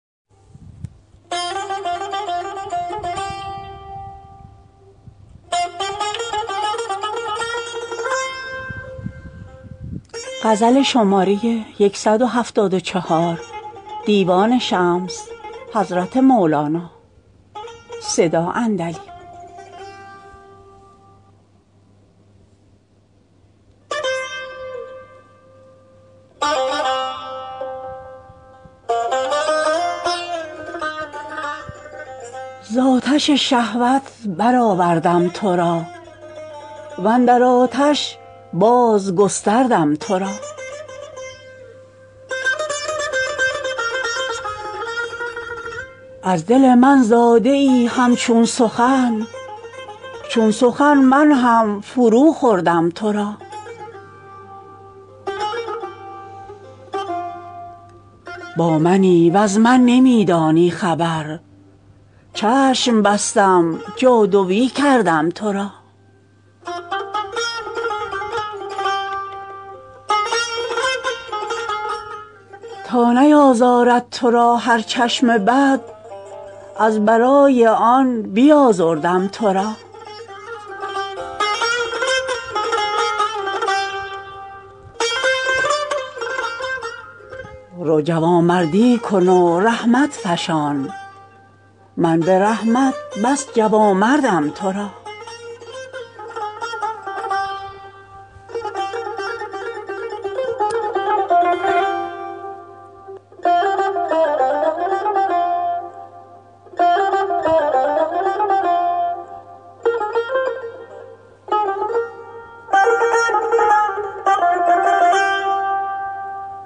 ز آتش شهوت برآوردم تو را و اندر آتش بازگستردم تو را از دل من زاده ای همچون سخن چون سخن من هم فروخوردم تو را با منی وز من نمی دانی خبر چشم بستم جادوی کردم تو را تا نیازارد تو را هر چشم بد از برای آن بیازردم تو را رو جوامردی کن و رحمت فشان من به رحمت بس جوامردم تو را